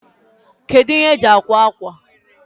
Kedu ihe eji akwa akwa?